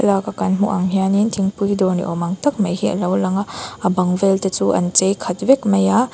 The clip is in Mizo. thlalaka kan hmuh ang hianin thingpui dawr ni awm ang tak mai hi a lo lang a a bang vel te chu an chei khat vel vek mai a.